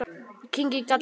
Ég kyngi galli.